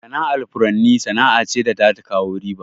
Sana'ar furanni sana'a ce da za ta kawo riba.